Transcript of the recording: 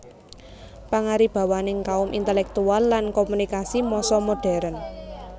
Pangaribawaning kaum intelektual lan komunikasi massa modern